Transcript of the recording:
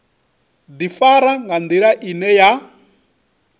ḓifara nga nḓila ine ya